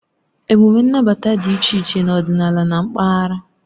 Emume nnabata dị iche iche n'ọdịnala na mpaghara.